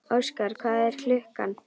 Öxar, hvað er klukkan?